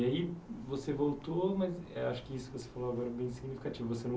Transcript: E aí você voltou, mas acho que isso que você falou agora é bem significativo. você